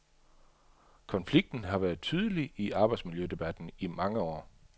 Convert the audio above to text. Konflikten har været tydelig i arbejdsmiljødebatten i mange år.